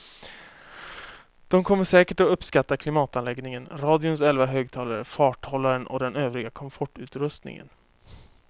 De kommer säkert att uppskatta klimatanläggningen, radions elva högtalare, farthållaren och den övriga komfortutrustningen.